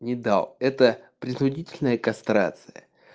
и да это принудительная кастрация